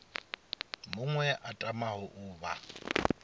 muṅwe a tamaho u vha